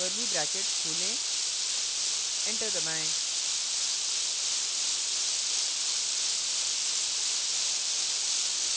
curly brackets खोलें enter दबाएँ